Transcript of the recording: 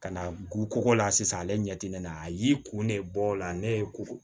Ka na gugoko la sisan ale ɲɛ ti ne na a y'i kun ne bɔ o la ne ye ko